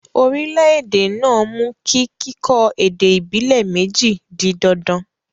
orílẹ̀-èdè náà mú kí kíkọ́ èdè ìbílè méjì di dandan